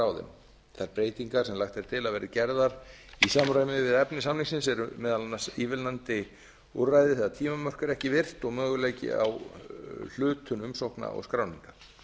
á þeim þær breytingar sem lagt er til að verði gerðar í samræmi við efni samningsins eru meðal annars eru meðal annars ívilnandi úrræði þegar tímamörk eru ekki virt og möguleiki á hlutum umsókna og skráninga